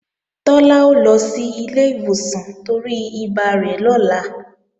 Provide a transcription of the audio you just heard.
Tọ́lá ó lọ sí ilé ìwòsàn torí ibà rẹ̀ lọ́la